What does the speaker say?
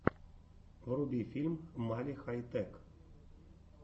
вруби фильм мали хай тэк